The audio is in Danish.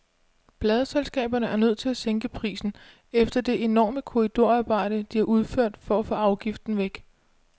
Pladeselskaberne er nødt til at sænke prisen efter det enorme korridorarbejde, de har udført for at få afgiften væk.